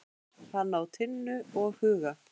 Hann á Tinnu og Huga.